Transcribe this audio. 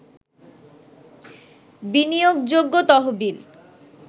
বিনিয়োগযোগ্য তহবিল